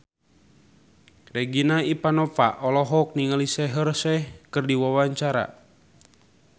Regina Ivanova olohok ningali Shaheer Sheikh keur diwawancara